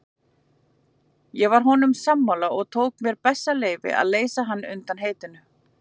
Ég var honum sammála og tók mér það bessaleyfi að leysa hann undan heitinu.